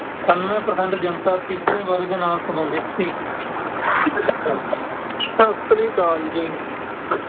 ਅਠਾਨਵੇਂ percent ਜਨਤਾ ਤੀਜੇ ਵਰਗ ਨਾਲ ਸੰਬੰਧਿਤ ਸੀ। ਸਤਿ ਸ਼੍ਰੀ ਅਕਾਲ ਜੀ।